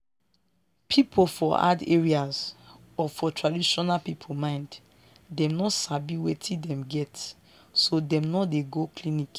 people for hard areas or for traditional people mind dem no sabi wetin dem get so dem no dey go clinic.